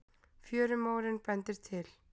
Fjörumórinn bendir til